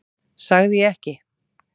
Sagði ég ekki?